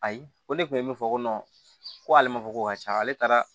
Ayi ko ne kun ye min fɔ ko ale ma fɔ ko ka caya ale taara